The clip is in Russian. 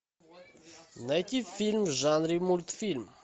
найти фильм в жанре мультфильм